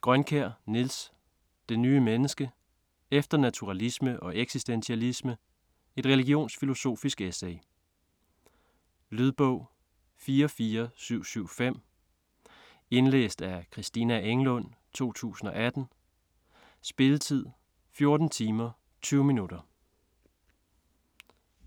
Grønkjær, Niels: Det nye menneske: efter naturalisme og eksistentialisme: et religionsfilosofisk essay Lydbog 44775 Indlæst af Christina Englund, 2018. Spilletid: 14 timer, 20 minutter.